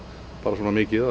svona mikið